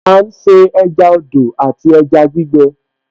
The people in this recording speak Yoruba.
À ń se ẹja odò àti ẹja gbígbẹ